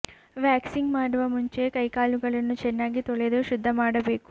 waxing ಮಾಡುವ ಮುಂಚೆ ಕೈ ಕಾಲುಗಳನ್ನು ಚೆನ್ನಾಗಿ ತೊಳೆದು ಶುದ್ಧ ಮಾಡಬೇಕು